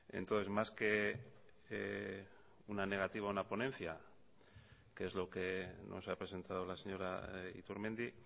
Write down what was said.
entonces más que una negativa a una ponencia que es lo que nos ha presentado la señora iturmendi